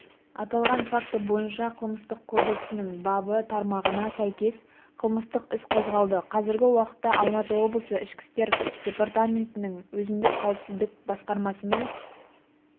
аталған факті бойынша қылмыстық кодексінің бабы тармағына сәйкес қылмыстық іс қозғалды қазіргі уақытта алматы облысы ішкі істер департаментінің өзіндік қауіпсіздік басқармасымен